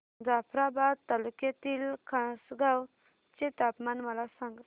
जाफ्राबाद तालुक्यातील खासगांव चे तापमान मला सांग